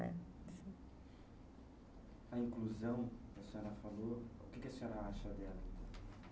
A inclusão que a senhora falou, o que a senhora acha dela?